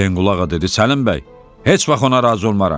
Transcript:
Həsənqulu ağa dedi: "Səlim bəy, heç vaxt ona razı olmaram.